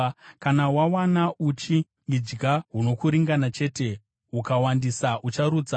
Kana wawana uchi, idya hunokuringana chete, hukawandisa, ucharutsa.